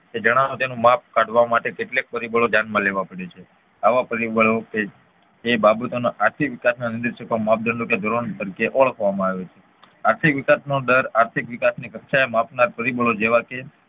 તે જણાવવા તેનું માપ કાઢવા માટે કેટલાક પરિબળો ધ્યાન માં લેવા પડે છે આવા પરિબળો કે જે બાબતો ના આર્થિક વિકાસના નિદર્શકો માપદંડો કે ધોરણ તરીકે ઓળખવામાં આવે છે આર્થિક વિકાસનો દર આર્થિક વિકાસની કક્ષાને માપનાર પરિબળો જેવા કે